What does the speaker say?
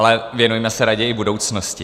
Ale věnujme se raději budoucnosti.